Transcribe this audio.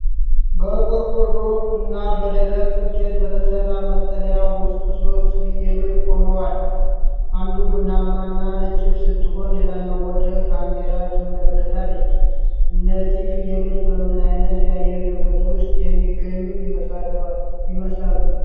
በቆርቆሮና በደረቅ እንጨት በተሰራ መጠለያ ውስጥ ሦስት ፍየሎች ቆመዋል። አንዷ ቡናማና ነጭ ስትሆን፤ ሌላዋ ወደ ካሜራው ትመለከታለች። እነዚህ ፍየሎች በምን ዓይነት የአየር ንብረት ውስጥ የሚገኙ ይመስላሉ?